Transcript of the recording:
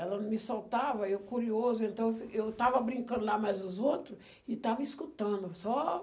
Ela não me soltava, eu curioso, então eu estava brincando lá, mais os outro, e estava escutando. Só...